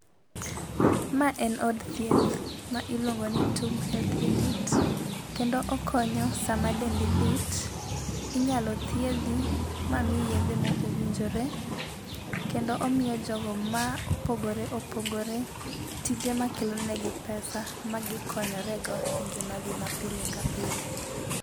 Ma en od thieth, ma iluongo ni TUM Health Unit, kendo okonyo sama dendi lit inyalo thiedhi ma miyi yedhe ma owinjore. Kendo omiyo jogo ma opogore opogore tije ma kelo negi pesa ma gikonyorego e ngima gi ma pile ka pile.